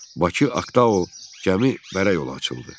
Bakı Aktao gəmi bərə yolu açıldı.